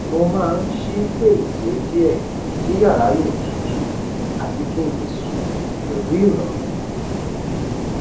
mo máa n ṣí fèrèsé diẹ kí yàrá lè tutù àti kinle sùn pẹlu ìròrùn